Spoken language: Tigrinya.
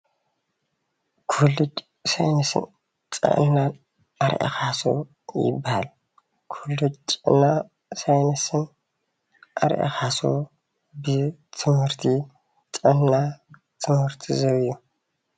ኮሌጅ ሳይንስን ጥዕናን ኣርኣያ ካሕሱ ይበሃል። ኮሌጅ ጥዕናን ሳይንስን ኣርኣያ ካሕሱ ብትምህርቲ ጥዕና ትምህርቲ ዝህብ እዩ።